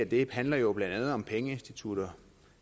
det handler jo blandt andet om pengeinstitutter